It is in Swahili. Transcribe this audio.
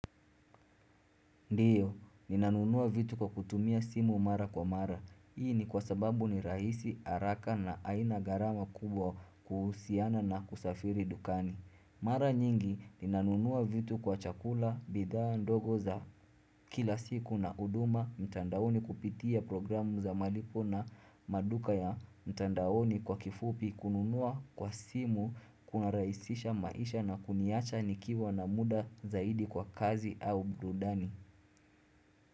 Ndiyo, ninanunua vitu kwa kutumia simu mara kwa mara. Hii ni kwa sababu ni rahisi, araka na aina garama kubwa kuhusiana na kusafiri dukani. Mara nyingi, ninanunua vitu kwa chakula, bidhaa ndogo za kila siku na uduma mtandaoni kupitia programu za malipo na maduka ya mtandaoni kwa kifupi kununua kwa simu kunaraisisha maisha na kuniacha nikiwa na muda zaidi kwa kazi au burudani.